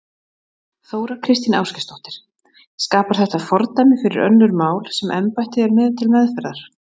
Þóra Kristín Ásgeirsdóttir: Skapar þetta fordæmi fyrir önnur mál sem embættið er með til meðferðar?